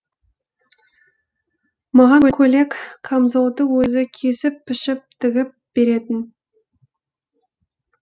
маған көйлек камзолды өзі кесіп пішіп тігіп беретін